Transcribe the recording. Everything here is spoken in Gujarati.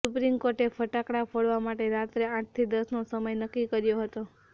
સુપ્રીમ કોર્ટે ફટાકડા ફોડવા માટે રાત્રે આઠથી દસનો સમય નક્કી કર્યો હતો